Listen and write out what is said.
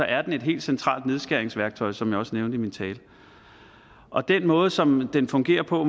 er den et helt centralt nedskæringsværktøj som jeg også nævnte i min tale og den måde som den fungerer på